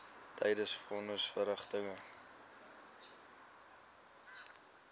tydens von nisverrigtinge